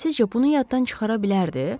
Sizcə, bunu yaddan çıxara bilərdi?